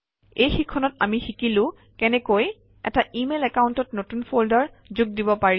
এই শিক্ষণত আমি শিকিলো কেনেকৈ এটা ইমেইল একাউণ্টত নতুন ফল্ডাৰ যোগ দিব পাৰি